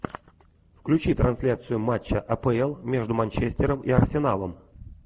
включи трансляцию матча апл между манчестером и арсеналом